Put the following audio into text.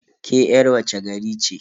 Ke yar wace gari ce?